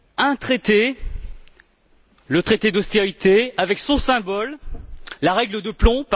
un traité, le traité d'austérité avec son symbole, la règle de plomb.